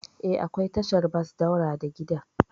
Eh, akwai tashar bas daura da gidan.